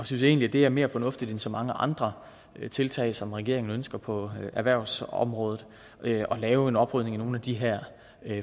synes egentlig det er mere fornuftigt end så mange andre tiltag som regeringen ønsker på erhvervsområdet at lave en oprydning i nogle af de her